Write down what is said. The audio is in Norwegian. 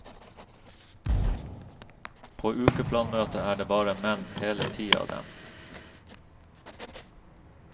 På ukeplanmøtet er det bare menn, hele ti av dem.